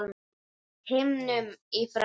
himnum í frá